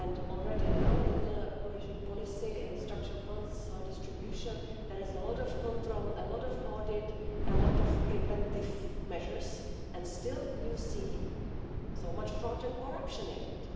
Already now in the Cohesion Policy, in structural funds distribution, there is a lot of control, a lot of audit, a lot of preventive measures, and still you see so much fraud and corruption